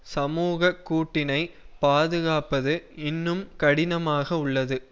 சமூக கூட்டினை பாதுகாப்பது இன்னும் கடினமாக உள்ளது